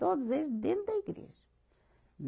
Todos eles dentro da igreja.